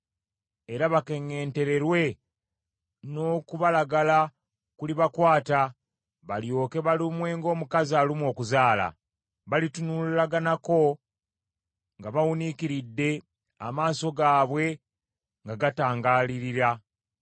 era bakeŋŋentererwe n’okubalagala kulibakwata, balyoke balumwe ng’omukazi alumwa okuzaala. Balitunulaganako nga bawuniikiridde amaaso gaabwe nga gatangaalirira.